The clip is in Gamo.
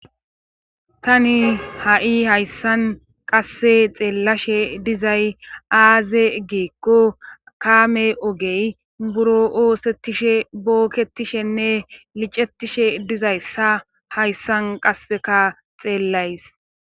tani ha7i hayssan qasse xeellashe dizay aaze geekko kaame ogey buro oosettishe bookketishenne licettishe dizayssa hayssan qasseka xeellays